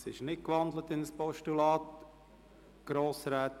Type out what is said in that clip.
Es wird nicht in ein Postulat gewandelt.